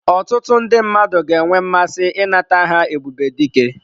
Ọtụtụ ndị mmadụ ga-enwe mmasị ịnata aha Ebubedike.